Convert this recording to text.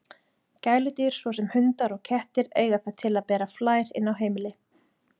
Gæludýr, svo sem hundar og kettir, eiga það til að bera flær inn á heimili.